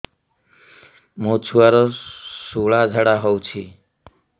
ମୋ ଛୁଆର ସୁଳା ଝାଡ଼ା ହଉଚି